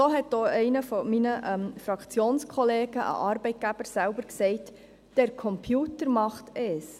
So hat auch einer meiner Fraktionskollegen, ein Arbeitgeber, selbst gesagt: «Der Computer macht es.»